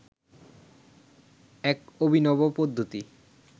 এক অভিনব পদ্ধতি